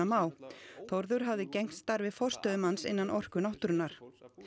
Má Þórður hafði gegnt starfi forstöðumanns innan Orku náttúrunnar